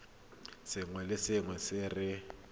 sengwe le sengwe se re